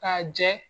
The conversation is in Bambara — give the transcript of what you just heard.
K'a jɛ